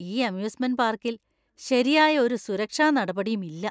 ഈ അമ്യൂസ്മെന്‍റ് പാർക്കിൽ ശരിയായ ഒരു സുരക്ഷാ നടപടിയും ഇല്ല.